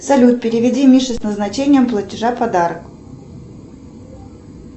салют переведи мише с назначением платежа подарок